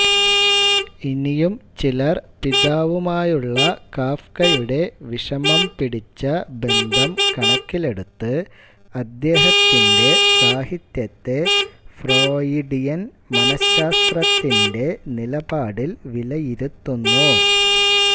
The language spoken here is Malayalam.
ഇനിയും ചിലർ പിതാവുമായുള്ള കാഫ്കയുടെ വിഷമം പിടിച്ച ബന്ധം കണക്കിലെടുത്ത് അദ്ദേഹത്തിന്റെ സാഹിത്യത്തെ ഫ്രോയിഡിയൻ മനഃശാസ്ത്രത്തിന്റെ നിലപാടിൽ വിലയിരുത്തുന്നു